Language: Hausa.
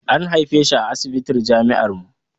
An haife shi a asibitin jami'ar mu